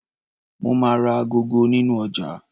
Mo máa ra agogo nínú ọjà.